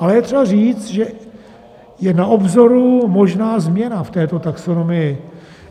Ale je třeba říct, že je na obzoru možná změna v této taxonomii.